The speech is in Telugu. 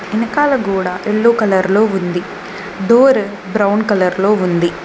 వెనకాల గోడ యెల్లో కలర్ లో ఉంది డోర్ బ్రౌన్ కలర్ లో ఉంది.